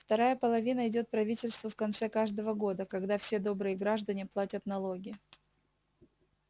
вторая половина идёт правительству в конце каждого года когда все добрые граждане платят налоги